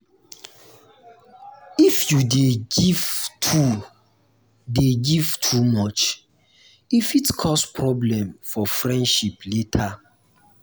if you dey give too dey give too much e fit cause problem for friendship later.